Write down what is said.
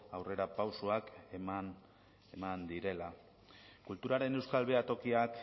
aurrerapausoak eman direla kulturaren euskal behatokiak